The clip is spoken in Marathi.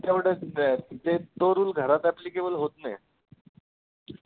तेवढचं ते तो rule घरात applicable होतं नाही